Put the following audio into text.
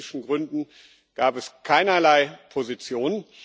Aus politischen Gründen gab es keinerlei Position.